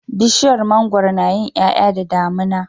Bishiyar mangwaro nayin yaya da damina